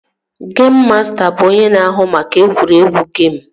Geim masta bụ onye na-ahụ maka egwuregwu geim